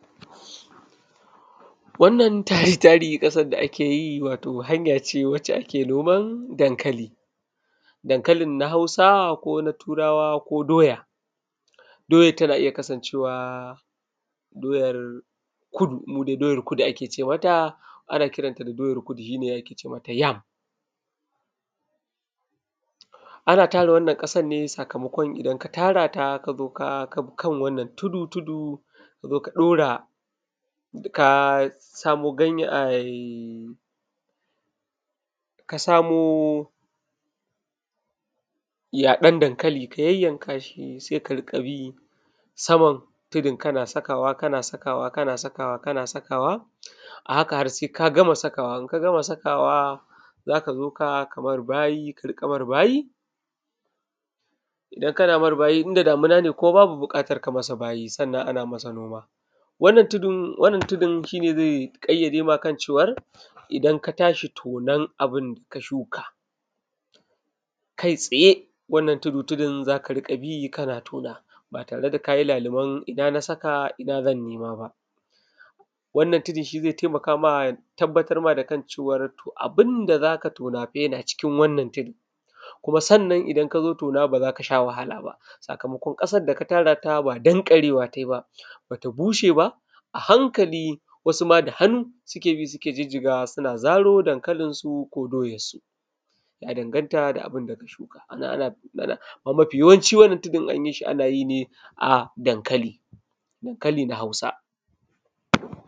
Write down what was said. Wannan tari-tari ƙasar da ake yi watau hanya ce wacce ake noman dankali. Dankalin na Hausa, ko na Turawa, ko doya. Doyar tana iya kasancewa doyar Kudu, mu dai doyar Kudu ake ce mata, ana kiran ta da doyar Kudu shi ne ake ce mata yam. Ana tara wannan ƙasar ne sakamakon idan ka tara ta ka zo ka, ka kan wannan tudu-tudu ka zo ka ɗora, ka samo ganye ai, ka samo yaɗon dankali ka yayyanka shi, sai ka riƙa bi saman tudun kana sakawa; kana sakawa; kana sakawa; a haka har sai ka gama sakawa. In ka gama sakawa, za ka zo ka, ka mar bayi, ka riƙa mar bayi. Idan kana mar bayi in da damuna ne kuma babu buƙatar ka masa bayi, sannan ana masa noma. Wannan tudun, wannan tudun shi ne zai ƙayyade ma kan cewar, idan ka tashi tonon abun da ka shuka, kai tsaye, wannan tudu-tudun za ka riƙa bi kana tona, ba tare da ka yi laluben ina na saka, ina zan nema ba. Wannan tudun shi zai taimaka ma ya tabbatar ma da kan cewar, to abun da za ka tona fa yana cikin wannan tudun. Kuma sannan idan ka zo tona ba za ka sha wahala ba, sakamakon ƙasar da ka tara ta ba danƙarewa ta yi ba, ba ta bushe ba, a hankali wasu ma da hannu suke bi suke jijjigawa suna zaro dankalinsu ko doyarsu, ya danganta da abun da ka shuka. Ana na, amma mafi yawanci wannan tudun in an yi shi, ana yi ne a dankali, dankali na Hausa.